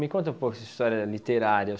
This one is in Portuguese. Me conta um pouco essa história literária.